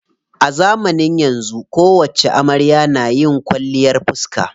A zamanin yanzu kowacce amarya na yi kwalliyar fiska.